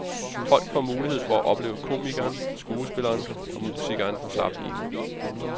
Folk får mulighed for at opleve komikeren, skuespilleren og musikeren på slap line.